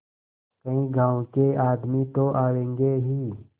कई गाँव के आदमी तो आवेंगे ही